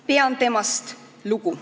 Pean temast lugu.